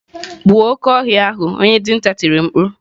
Gbuo oke ohia ahu onye dinta tiri mkpu.